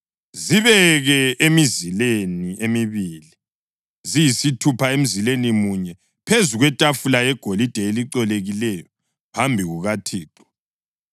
Zibeke emizileni emibili, ziyisithupha emzileni munye, phezu kwetafula yegolide elicolekileyo phambi kukaThixo.